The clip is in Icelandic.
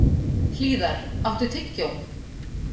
Hlíðar, áttu tyggjó?